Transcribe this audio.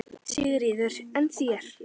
Sigríður: En þér?